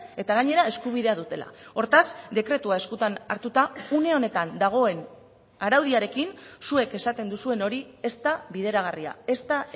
eta gainera eskubidea dutela hortaz dekretua eskutan hartuta une honetan dagoen araudiarekin zuek esaten duzuen hori ez da bideragarria ez da